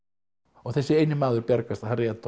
og þessi eini maður bjargast Harry